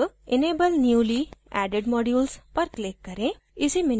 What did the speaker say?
अब enable newly added modules पर click करें